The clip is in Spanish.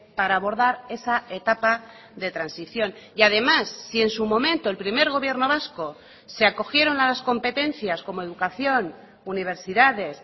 para abordar esa etapa de transición y además si en su momento el primer gobierno vasco se acogieron a las competencias como educación universidades